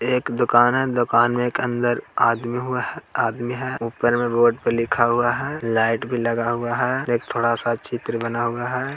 एक दुकान है दुकान में अंदर एक आदमी हुआ है आदमी है ऊपर में बोर्ड पर लिखा हुआ है लाइट भी लगा हुआ है एक थोड़ा-सा चित्र बना हुआ है।